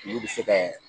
Olu bɛ se kɛ